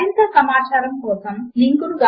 మరింత సమాచారము కొరకు httpspoken tutorialorgNMEICT Intro